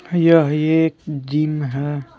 यह एक जिम है।